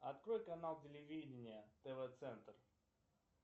открой канал телевидения тв центр